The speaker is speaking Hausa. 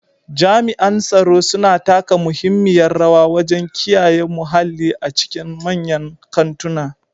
Jami'an tsaro suna taka muhimmiyar rawa wajen kiyaye muhalli a cikin manyan kantuna.